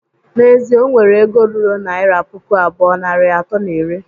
N'ezie, o nwere ego ruru naira puku abụọ, narị atọ na iri